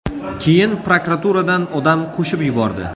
Keyin prokuraturadan odam qo‘shib yubordi.